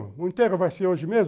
O enterro vai ser hoje mesmo?